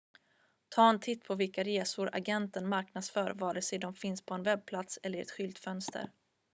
ta en titt på vilka resor agenten marknadsför vare sig de finns på en webbplats eller i ett skyltfönster